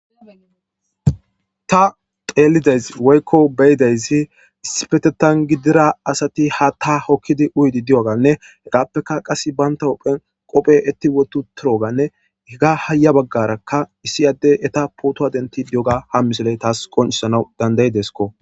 Ta xeelidays woykko beydaysi isipetetan gidira asati ha ta hokkidi uydi di'oganne hegaappeka qas baynta ophen qophe etti wotu turoganne higa haya baggarakka issi addey eta pootowa denti diyoga ha misoley taas qonchisana dandayideskko.